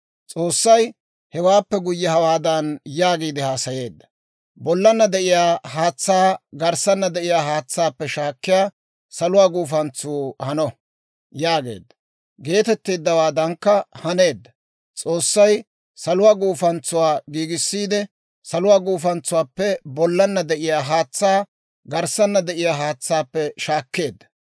S'oossay hewaappe guyye hawaadan yaagiide haasayeedda; «Bollanna de'iyaa haatsaa garssanna de'iyaa haatsaappe shaakkiyaa saluwaa guufantsuu hano» yaageedda; geetettowaadankka haneedda. S'oossay saluwaa guufantsuwaa giigissiide, saluwaa guufantsuwaappe bollanna de'iyaa haatsaa garssanna de'iyaa haatsaappe shaakkeedda.